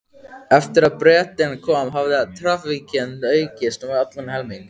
Eftir að Bretinn kom hafði traffíkin aukist um allan helming.